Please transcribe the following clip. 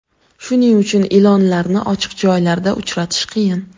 Shuning uchun ilonlarni ochiq joylarda uchratish qiyin.